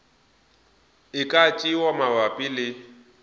e ka tšewa mabapi le